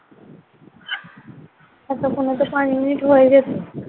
আচ্ছা শোন না পাঁচ মিনিট হয়ে গেছে।